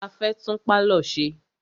A fẹ́ tún pálọ̀ ṣe.